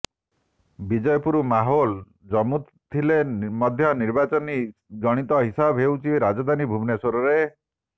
ବିଜେପୁର ମାହୋଲ ଜମୁଥିଲେ ମଧ୍ୟ ନିର୍ବାଚନୀ ଗଣିତ ହିସାବ ହେଉଛି ରାଜଧାନୀ ଭୁବନେଶ୍ୱରରରେ